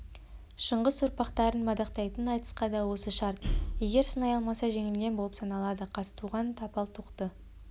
шыңғыс ұрпақтарын мадақтайтын айтысқа да осы шарт егер сынай алмаса жеңілген болып саналады қазтуған тапал тоқты